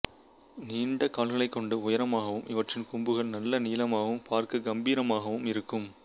நீண்ட கால்களைக் கொண்டு உயரமாகவும் இவற்றின் கொம்புகள் நல்ல நீளமாகவும் பார்க்க கம்பீரமாகவும் இருக்கும்